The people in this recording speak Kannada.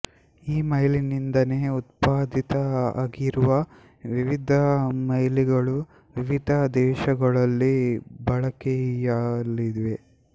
ಈ ಮೈಲಿನಿಂದನೇ ಉತ್ಪಾದಿತ ಆಗಿರುವ ವಿವಿಧ ಮೈಲಿಗಳು ವಿವಿಧ ದೇಶಗಳಲ್ಲಿ ಬಳಕೆಯಲ್ಲಿವೆ